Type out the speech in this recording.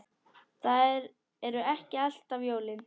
Það eru ekki alltaf jólin.